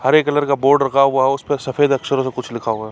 हरे colour का board रखा हुआ है उसपे सफ़ेद अक्षरों से कुछ लिखा हुआ है। .